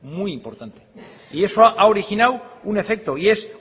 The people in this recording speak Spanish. muy importante y eso ha originado un efecto y es